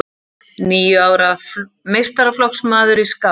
Níu ára meistaraflokksmaður í skák